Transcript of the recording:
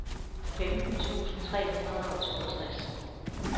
femten tusind tre hundrede og toogtres